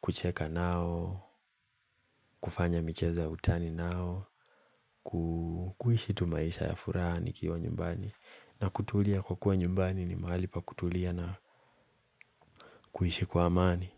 kucheka nao, kufanya michezo ya utani nao, kuishi tu maisha ya furaha, nikiwa nyumbani na kutulia kwa kuwa nyumbani ni mahali pa kutulia na kuishi kwa amani.